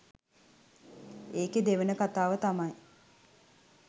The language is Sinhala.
ඒකෙ දෙවන කතාව තමයි